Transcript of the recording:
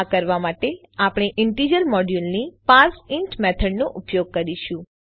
આ કરવા માટે આપણે ઈન્ટીજર મોડ્યુલની પાર્સેઇન્ટ મેથડનો ઉપયોગ કરીશું